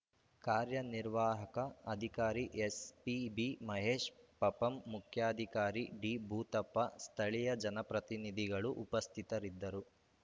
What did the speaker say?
ಕಾರ್ಯನಿವಾರ್ಹಕ ಅಧಿಕಾರಿ ಎಸ್‌ಪಿಬಿ ಮಹೇಶ್‌ ಪಪಂ ಮುಖ್ಯಾಧಿಕಾರಿ ಡಿಭೂತಪ್ಪ ಸ್ಥಳೀಯ ಜನಪ್ರತಿನಿಧಿಗಳು ಉಪಸ್ಥಿತರಿದ್ದರು